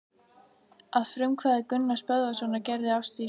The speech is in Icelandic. Að frumkvæði Gunnars Böðvarssonar gerði Ásdís